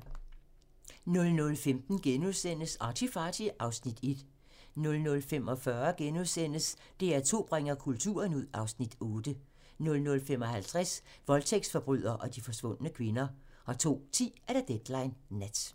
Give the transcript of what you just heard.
00:15: ArtyFarty (Afs. 1)* 00:45: DR2 bringer kulturen ud (Afs. 8)* 00:55: Voldtægtsforbryder og de forsvundne kvinder 02:10: Deadline Nat